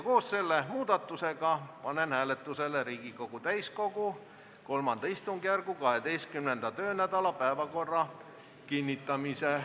Koos selle muudatusega panen hääletusele Riigikogu täiskogu III istungjärgu 12. töönädala päevakorra kinnitamise.